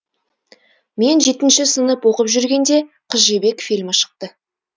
мен жетінші сынып оқып жүргенде қыз жібек фильмі шықты